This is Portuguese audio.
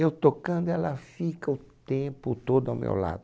Eu tocando, ela fica o tempo todo ao meu lado.